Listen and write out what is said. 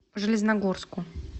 железногорску